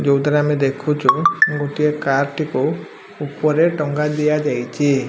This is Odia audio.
ଯୋଉଥିରେ ଆମେ ଦେଖୁଚୁ ଗୋଟିଏ କାର୍ ଟିକୁ ଉପରେ ଟଙ୍ଗାଦିଆଯାଇଚି।